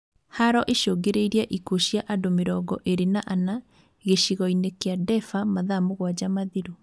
Haro icũngĩrĩirie ikuũ cia andũ mĩrongo ĩrĩ na ana, gĩcigo-inĩ kia Daefur mathaa mũgwanja mathiru